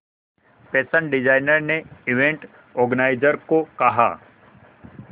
fashion designer ने event organiser को कहा